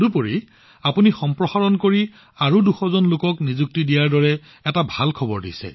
আৰু আপুনি আমাক নতুন সম্প্ৰসাৰণৰ খবৰ দিছে আৰু ২০০ জন নতুন লোকক নিযুক্তি দিয়াৰ আনন্দদায়ক বাতৰি দিছে